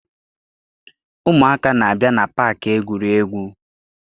Ụmụaka na-abịa na paakị egwuregwu.